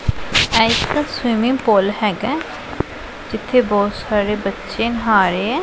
ਇਹ ਇੱਕ swimming pool ਹੈਗਾ ਜਿੱਥੇ ਬਹੁਤ ਸਾਰੇ ਬੱਚੇ ਨਹਾ ਰਹੇ ਐ।